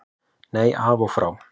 Nei, af og frá.